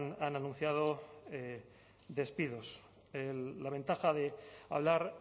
han anunciado despidos la ventaja de hablar